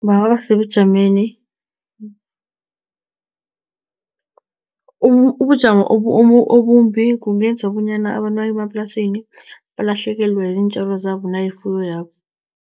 Bangaba sebujameni ubujamo obumbi kungenza bonyana abantu bangemaplasini balahlekelwe ziintjalo zabo nayifuyo yabo.